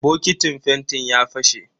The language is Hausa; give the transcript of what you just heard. Bokitin fentin ya fashe.